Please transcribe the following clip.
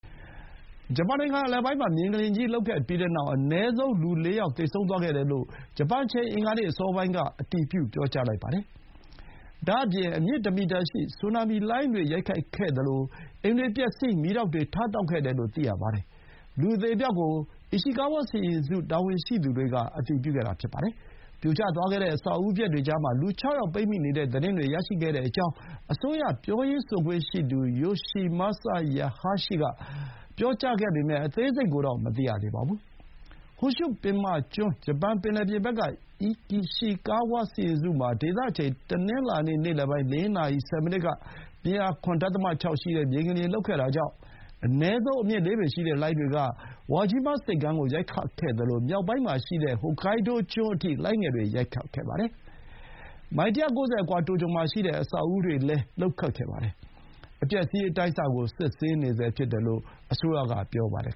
ဂျပန်နိုင်ငံအလယ်ပိုင်းမှာ မြေငလျင်ကြီး လှုပ်ခဲ့ပြီးတဲ့နောက် အနည်းဆုံး လူ ၄ ယောက် သေဆုံးခဲ့တယ်လို့ ဂျပန်အချိန် အင်္ဂါနေ့အစောပိုင်းက အတည်ပြုလိုက်ပါတယ်။ ဒါ့အပြင် အမြင့်တမီတာရှိတဲ့ ဆူနာမီလှိုင်းတွေ ရိုက်ခတ်ခဲ့သလို အိမ်တွေပျက်စီး မီးတောက်တွေ ထတောက်ခဲ့တယ်လို့ သိရပါတယ်။ လူအသေအပျောက်ကို အီရှီကားဝါးစီရင်စု တာဝန်ရှိသူတွေက အတည်ပြုခဲ့တာပါ။ ပြိုကျသွားတဲ့ အဆောက်အဦပျက်တွေကြားမှာ လူ ၆ ယောက် ပိတ်မိနေတဲ့သတင်းတွေ ရရှိခဲ့ကြောင်း အစိုးရပြောရေးဆိုခွင့်ရှိသူ ယိုရှီမာဆာ ဟာယာရှီက (Yoshimasa Hayashi) ပြောပေမဲ့ အသေးစိတ်ကိုတော့ မသိရသေးပါဘူး။ ဟွန်ရှု ပင်မကျွန်း ဂျပန်ပင်လယ်ပြင်ဘက်က အီရှီကာဝါးစီရင်စုမှာ ဒေသအချိန် တနင်္လာနေ့ နေ့လယ်ပိုင်း ၄ နာရီ ဆယ်မိနစ်က ပြင်းအား ၇.၆ ရှိတဲ့ မြေငလျင်လှုပ်ခဲ့တာကြောင့် အနည်းဆုံး အမြင့် ၄ ပေရှိတဲ့ လှိုင်းတွေက ဝါဂျီးမားဆိပ်ကမ်းကို ရိုက်ခတ်ခဲ့သလို မြောက်ပိုင်းမှာရှိတဲ့ ဟိုကိုင်းဒိုးကျွန်း Hokkaido အထိ လှိုင်းငယ်တွေ ရိုက်ခတ်ခဲ့ပါတယ်။ မိုင် ၁၉၀ အကွာ တိုကျိုမှာရှိတဲ့ အဆောက်အဦတွေလည်း လှုပ်ခတ်ခဲ့ပါတယ်။ အပျက်အစီး အတိုင်းအဆ ကို စစ်ဆေးနေဆဲဖြစ်တယ်လို့ အစိုးရက ပြောပါတယ်